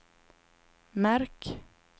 märk